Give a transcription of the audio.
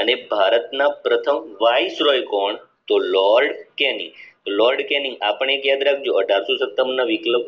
અને ભારતના પ્રથમ વાઇસરલ કોણ તો લોર્ડ કેની લોર્ડ કેની આ પણ યાદ રાખજો ના વિપ્લવ